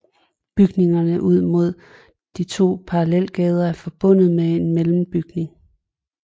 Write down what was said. Bygningerne ud mod de to parallelgader er forbundet med en mellembygning